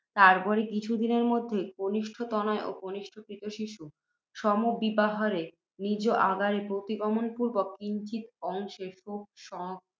তৎপরে কিছু দিনের মধ্যেই, কনিষ্ঠ তনয় ও কনিষ্ঠ ক্রীত শিশু সমভিব্যাহারে, নিজ আগারে প্রতিগমন পূর্ব্বক, কিঞ্চিৎ অংশে শোক